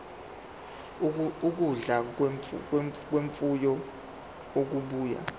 ukudla kwemfuyo okubuya